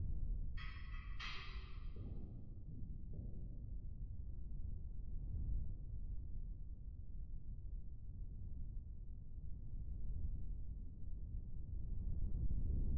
Shamarreen uffata aadaa naannoo ishee yoo uffatte miidhaginni ishii baay'ee dabala. Dubartiin kun uffata aadaa saba Oromoo uffattee kan jirtu yoo ta'u, faaya godhattee jirtu kanaan baay'ee kan miidhagdee jirtudha.